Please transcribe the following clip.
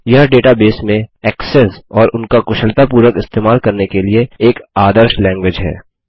यह डेटाबेसेस में एक्सेस और उनका कुशलतापूर्वक इस्तेमाल करने के लिए एक आदर्श लैंग्वेज है